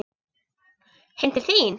Heim til þín?